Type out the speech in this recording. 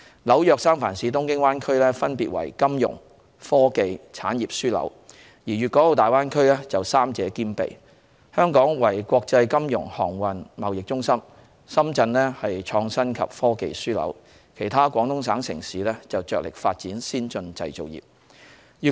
紐約、三藩市、東京灣區分別為金融、科技、產業樞紐，而大灣區則三者兼備：香港為國際金融、航運、貿易中心；深圳為創新及科技樞紐，而其他廣東省城市則着力發展先進製造業。